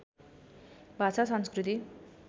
भाषा संस्कृति